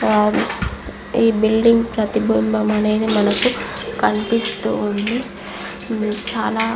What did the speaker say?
ఈ బిల్డింగ్ ప్రతిబింబం అనేది మనకు కనిపిస్తూ ఉంది. చాలా --